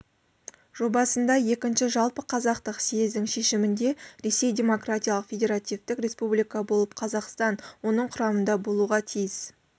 жобасында екінші жаппықазақтық съездің шешімінде ресей демократиялық федеративтік республика болып қазақстан оның құрамында болуға тиіс